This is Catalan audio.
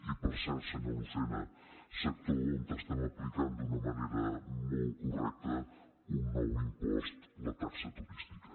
i per cert senyor lucena sector on estem aplicant d’una manera molt correcta un nou impost la taxa turística